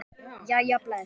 Jæja bless